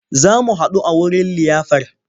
Za mu haɗu a wurin liyafar.